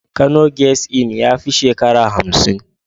Kano guest Inn ya fi shekarar hamsin.